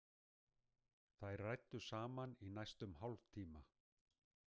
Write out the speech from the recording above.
Þær ræddu saman í næstum hálftíma.